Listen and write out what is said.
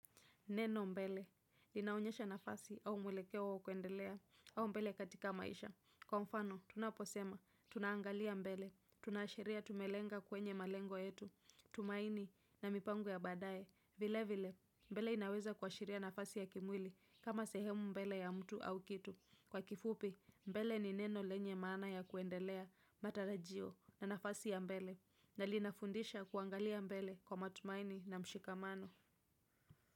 Neno mbele linaonyesha nafasi au mwelekeo wa kuendelea au mbele katika maisha. Kwa mfano, tunaposema, tunaangalia mbele, tunaashiria tumelenga kwenye malengo yetu, tumaini na mipango ya badae, vile vile, mbele inaweza kuashiria nafasi ya kimwili, kama sehemu mbele ya mtu au kitu. Kwa kifupi, mbele ni neno lenye maana ya kuendelea, matarajio, na nafasi ya mbele, na linafundisha kuangalia mbele kwa matumaini na mshikamano.